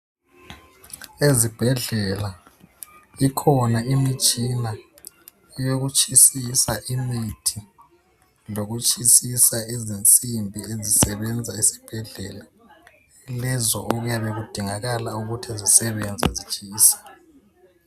Ezibhedlela ikhona imitshina eyokutshisisa imithi lokutshisisa izinsimbi ezisebenza esibhedlela lezo okuyabe kudingakala ukuthi zisebenze zitshisa.